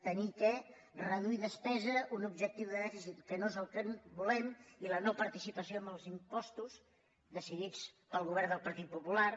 haver de reduir despesa un objectiu de dèficit que no és el que volem i la no participació en els impostos decidits pel govern del partit popular